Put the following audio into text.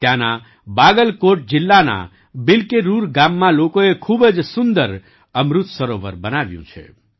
ત્યાંના બાગલકોટ જિલ્લાના બિલ્કેરુર ગામમાં લોકોએ ખૂબ જ સુંદર અમૃત સરોવર બનાવ્યું છે